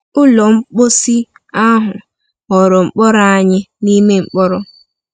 Ụlọ mposi ahụ ghọrọ mkpọrọ anyị n’ime mkpọrọ.